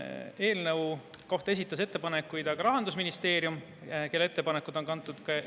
Eelnõu kohta esitas ettepanekuid Rahandusministeerium, kelle ettepanekud on kantud eelnõu kaardile.